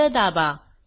enter दाबा